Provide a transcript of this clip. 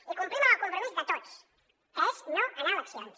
i complim amb el compromís de tots que és no anar a eleccions